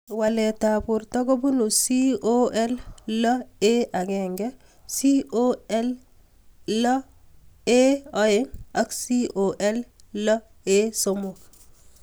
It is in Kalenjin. Walet ab porto kopunu COL6A1, COL6A2, ak COL6A3